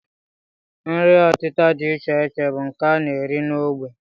Nri ọtịta dị iche iche bụ nke a na-eri n'ógbè